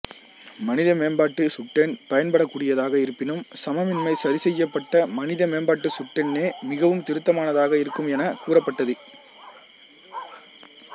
மனித மேம்பாட்டுச் சுட்டெண் பயன்படக்கூடியதாக இருப்பினும் சமமின்மை சரிசெய்யப்பட்ட மனித மேம்பாட்டுச் சுட்டெண்ணே மிகவும் திருத்தமானதாக இருக்கும் எனக் கூறப்பட்டது